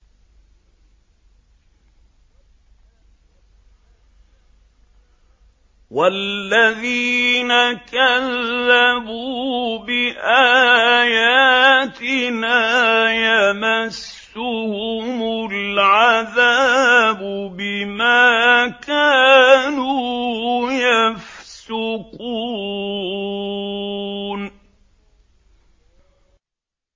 وَالَّذِينَ كَذَّبُوا بِآيَاتِنَا يَمَسُّهُمُ الْعَذَابُ بِمَا كَانُوا يَفْسُقُونَ